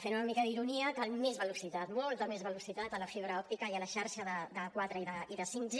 fent una mica d’ironia cal més velocitat molta més velocitat a la fibra òptica i a la xarxa de quatre i de 5g